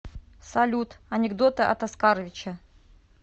салют анекдоты от оскаровича